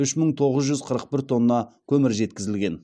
үш мың тоғыз жүз қырық бір тонна көмір жеткізілген